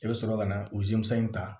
I bɛ sɔrɔ ka na o in ta